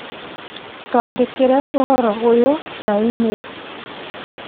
Twandĩkĩre ũhoro ũyũ na i-mīrū